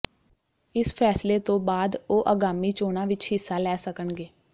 ਇਸ ਫੈਸਲੇ ਤੋਂ ਬਾਅਦ ਉਹ ਆਗਾਮੀ ਚੋਣਾਂ ਵਿੱਚ ਹਿੱਸਾ ਲੈ ਸਕਣਗੇ